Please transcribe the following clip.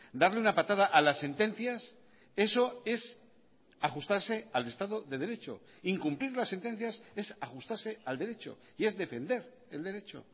darle una patada a las sentencias eso es ajustarse al estado de derecho incumplir las sentencias es ajustarse al derecho y es defender el derecho